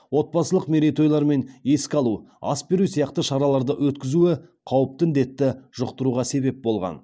отбасылық мерейтойлар мен еске алу ас беру сияқты шараларды өткізуі қауіпті індетті жұқтыруға себеп болған